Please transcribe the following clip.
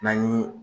N'an ye